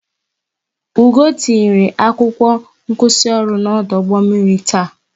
Ugoo tinyere akwụkwọ nkwụsịoru n'ọdụ ụgbọ mmiri taa